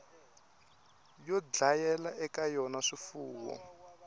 yo dlayela eka yona swifuwo